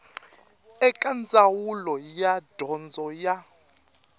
eka ndzawulo ya dyondzo ya